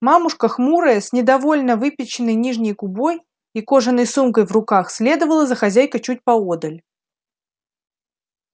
мамушка хмурая с недовольно выпяченной нижней губой и кожаной сумкой в руках следовала за хозяйкой чуть поодаль